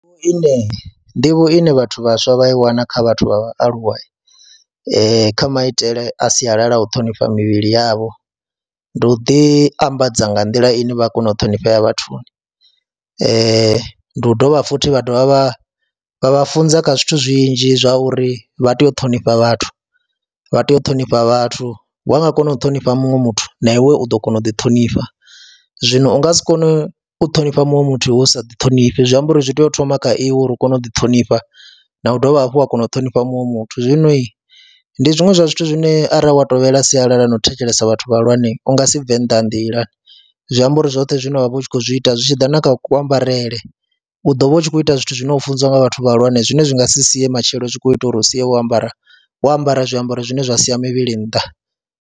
Nḓivho ine vhathu vhaswa vha i wana kha vhathu vha vhaaluwa kha maitele a sialala, u ṱhonifha mivhili yavho, ndi u ḓiambadza nga nḓila ine vha kona u ṱhonifhea vhathuni, ndi u dovha futhi vha dovha vha vha vha funza kha zwithu zwinzhi zwa uri vha tea u ṱhonifha vhathu, vha tea u ṱhonifha vhathu, wa nga kona u ṱhonifha muṅwe muthu na iwe u ḓo kona u ḓiṱhonifha, zwino u nga si kone u ṱhonifha muṅwe muthu hu u sa ḓi ṱhonifhi. Zwi amba uri zwi tea u thoma kha iwe uri u kone u ḓiṱhonifha na u dovha hafhu wa kona u ṱhonifha muṅwe muthu, zwinoi ndi zwiṅwe zwa zwithu zwine arali wa tovhela sialala na u thetshelesa vhathu vhahulwane u nga si bve nnḓa ha nḓila. Zwi amba uri zwoṱhe zwine wa vha u khou zwi ita zwi tshi ḓa na kha kuambarele u ḓo vha u tshi khou ita zwithu zwine u funziwa nga vhathu vhahulwane zwine zwi nga si sie matshelo u tshi khou ita uri u sia wo ambara wo ambara zwiambaro zwine zwa siya mivhili nnḓa.